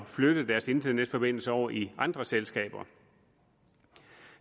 at flytte deres internetforbindelser over i andre selskaber